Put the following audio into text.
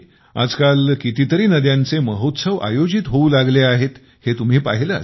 आजकाल कितीतरी नद्यांचे महोत्सव आयोजित होऊ लागले आहेत हे तुम्ही पाहिले असेल